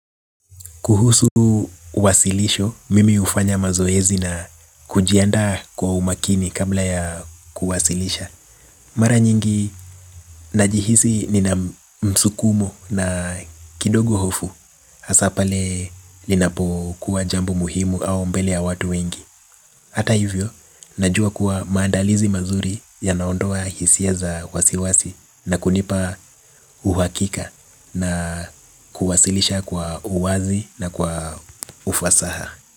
Kuhusu uwasilisho, mimi ufanya mazoezi na kujiandaa kwa umakini kabla ya kuwasilisha. Mara nyingi najihisi nina msukumo na kidogo hofu. Hasa pale linapo kuwa jambo muhimu au mbele ya watu wengi ata hivyo, najua kuwa maandalizi mazuri yanaondoa hisia za wasiwasi. Na kunipa uhakika na kuwasilisha kwa uwazi na kwa ufasaha.